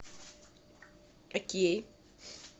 окей